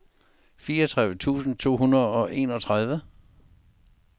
fireogtredive tusind to hundrede og enogtredive